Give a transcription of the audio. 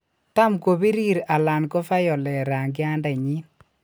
Tam kopirir alan ko violet rangiandenyin.